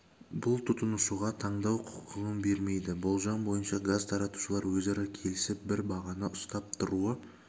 бұл тұтынушыға таңдау құқығын бермейді болжам бойынша газ таратушылар өзара келісіп бір бағаны ұстап тұруы